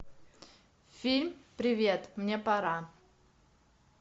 фильм привет мне пора